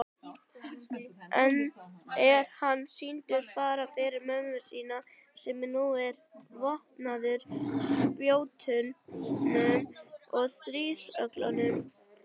Enn er hann sýndur fara fyrir mönnum sínum sem nú eru vopnaður spjótum og stríðsöxum.